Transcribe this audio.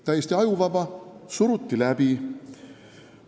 Täiesti ajuvaba, aga suruti läbi.